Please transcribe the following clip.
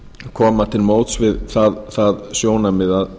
koma til móts við það sjónarmið að